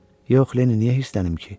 Yox, Lenni, niyə hirslənim ki?